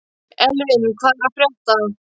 Elvin, hvað er að frétta?